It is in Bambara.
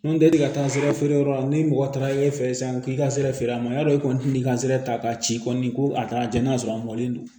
Nɔntɛli taa n sera feereyɔrɔ la ni mɔgɔ taara e fɛ ye sisan k'i ka sira feere a ma y'a dɔn e kɔni t'i ka sira ta k'a ci kɔni ko a taara j'a sɔrɔ a mɔlen don